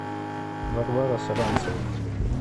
варвара саранцева